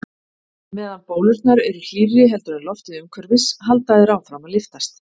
Meðan bólurnar eru hlýrri heldur en loftið umhverfis halda þær áfram að lyftast.